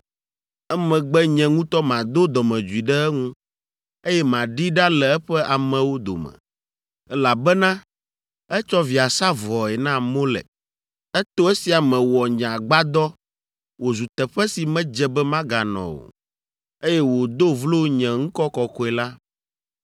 Emegbe nye ŋutɔ mado dɔmedzoe ɖe eŋu, eye maɖee ɖa le eƒe amewo dome, elabena etsɔ via sa vɔe na Molek, eto esia me wɔ nye Agbadɔ wòzu teƒe si medze be maganɔ o, eye wòdo vlo nye ŋkɔ kɔkɔe la.